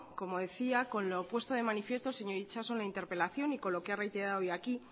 como decía con lo puesto de manifiesto el señor itxaso en la interpelación y con lo que ha reiterado hoy aquí